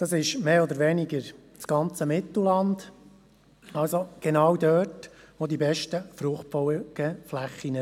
– Mehr oder weniger das ganze Mittelland, also genau der Bereich, wo sich die besten Fruchtfolgeflächen befinden.